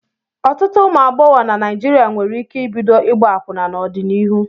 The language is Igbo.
Ọtụtụ ụmụ agbọghọ na Naijiria nwere ike ibido ịgba akwụna n'ọdịnihu.